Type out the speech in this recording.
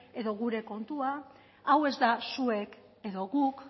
edo gure kontua hau ez da zuek edo guk